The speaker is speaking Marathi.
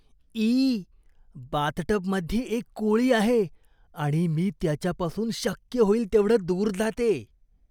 ई, बाथटबमध्ये एक कोळी आहे आणि मी त्याच्यापासून शक्य होईल तेवढं दूर जाते.